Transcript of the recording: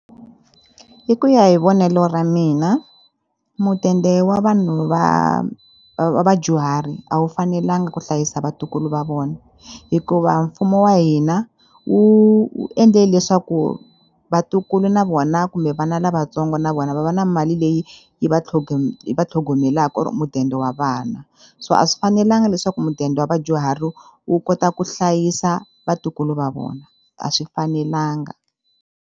Hi ku ya hi vonelo ra mina mudende wa vanhu va va vadyuhari a wu fanelanga ku hlayisa vatukulu va vona hikuva mfumo wa hina wu endle leswaku vatukulu na vona kumbe vana lavatsongo na vona va va na mali leyi yi va yi va tlhogomelaka or mudende wa vana so a swi fanelanga leswaku mudende wa vadyuhari wu kota ku hlayisa vatukulu va vona a swi fanelanga.